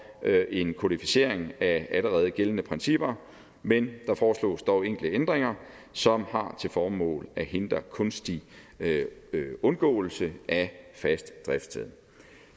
en kodificering af allerede gældende principper men der foreslås dog enkelte ændringer som har til formål at hindre kunstig undgåelse af fast driftssted